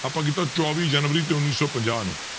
ਆਪਾਂ ਕੀਤਾ ਚੌਵੀ ਜਨਵਰੀ ਤੇ ਉੱਨੀ ਸੌ ਪੰਜਾਹ ਨੂੰ।